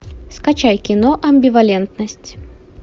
скачай кино амбивалентность